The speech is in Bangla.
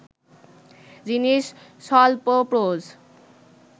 যিনি স্বল্পপ্রজ